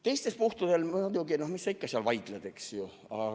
Teistel puhkudel, muidugi, mis sa ikka seal vaidled, eks ole.